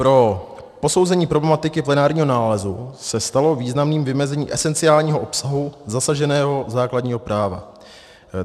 Pro posouzení problematiky plenárního nálezu se stalo významným vymezení esenciálního obsahu zasaženého základního práva.